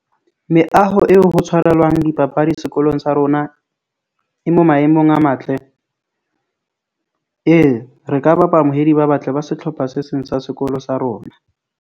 Meaho eo ho tshwarelwang dipapadi sekolong sa rona. E mo maemong a matle ee, re ka bapala moedi ba batle ba setlhopha se seng sa sekolo sa rona.